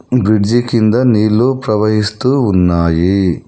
Bridge కింద నీళ్లు ప్రవహిస్తూ ఉన్నాయి.